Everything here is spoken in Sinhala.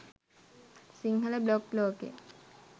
සිංහල බ්ලොග් ලෝකේ